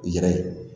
U yɛrɛ ye